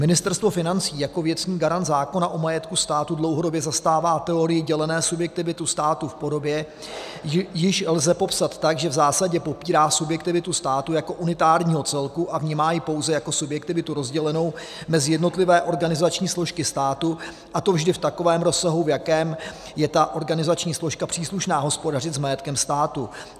Ministerstvo financí jako věcný garant zákona o majetku státu dlouhodobě zastává teorii dělené subjektivity státu v podobě, již lze popsat tak, že v zásadě popírá subjektivitu státu jako unitárního celku a vnímá ji pouze jako subjektivitu rozdělenou mezi jednotlivé organizační složky státu, a to vždy v takovém rozsahu, v jakém je ta organizační složka příslušná hospodařit s majetkem státu.